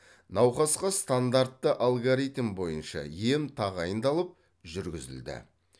науқасқа стандартты алгоритм бойынша ем тағайындалып жүргізілді